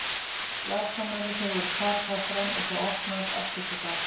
Varnarmennirnir voru plataðir fram og þá opnaðist allt upp á gátt.